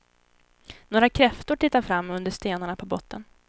Några kräftor tittar fram under stenarna på botten.